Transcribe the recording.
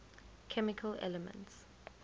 chemical elements